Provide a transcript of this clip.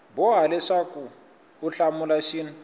boha leswaku u hlamula xin